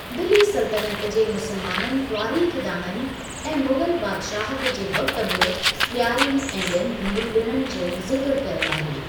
दिल्‍ली सल्‍तनत जे मुसलमाननि तवारीख़दाननि ऐं मुग़ल बादशाहत जे वक़्ति बि ॾियारी ऐं ॿियनि हिंदू ॾिणनि जो ज़िक्र कयो आहे।